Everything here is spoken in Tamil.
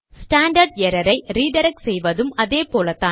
ஸ்டாண்டர்ட் எரர் ஐ ரிடிரக்ட் செய்வதும் அதேபோல்தான்